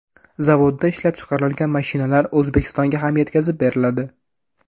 Zavodda ishlab chiqarilgan mashinalar O‘zbekistonga ham yetkazib beriladi.